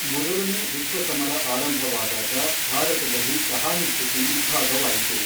ಮೊದಲನೇ ವಿಶ್ವ ಸಮರ ಆರಂಭವಾದಾಗ, ಭಾರತದಲ್ಲಿ ಸಹಾನುಭೂತಿ ಇಬ್ಭಾಗವಾಯಿತು.